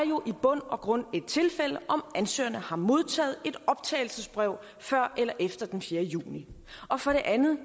jo i bund og grund et tilfælde om ansøgerne har modtaget et optagelsesbrev før eller efter den fjerde juni og for det andet